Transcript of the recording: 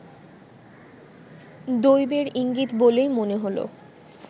দৈবের ইঙ্গিত বলেই মনে হলো